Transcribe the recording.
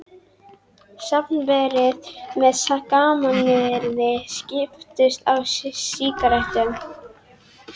Safnverðir með gamanyrði skiptust á sígarettum.